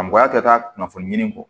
A mɔgɔya kɛ taa kunnafoni ɲini kɔ